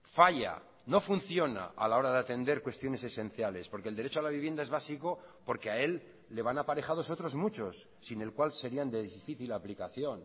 falla no funciona a la hora de atender cuestiones esenciales porque el derecho a la vivienda es básico porque a él le van aparejados otros muchos sin el cual serían de difícil aplicación